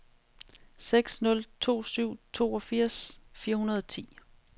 seks nul to syv toogfirs fire hundrede og ti